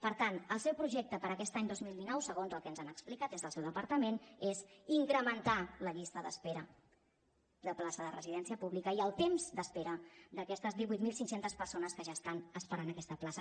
per tant el seu projecte per a aquest any dos mil dinou segons el que ens han explicat des del seu departament és incrementar la llista d’espera de plaça de residència pública i el temps d’espera d’aquestes divuit mil cinc cents persones que ja estan esperant aquesta plaça